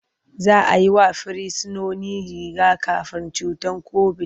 Za a yi wa Firsinoni riga-kafin cutar kobit.